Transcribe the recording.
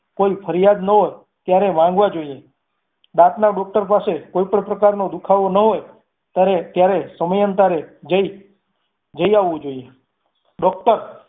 કોઈ ફરિયાદ ના હોય ત્યારે માંગવા જોઈએ દાંતના doctor પાસે કોઈ પણ પ્રકારનો દુખાવો ના હોઈ ત્યારે ત્યારે સમયાંતરે જઈ આલવું જોઈએ doctor